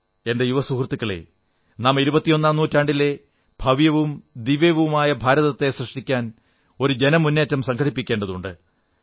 എന്റെ യുവ സുഹൃത്തുക്കളേ നാം ഇരുപത്തിയൊന്നാം നൂറ്റാണ്ടിലെ ഭവ്യവും ദിവ്യവുമായ ഭാരതത്തെ സൃഷ്ടിക്കാൻ ഒരു ജനമുന്നേറ്റം സംഘടിപ്പിക്കേണ്ടതുണ്ട്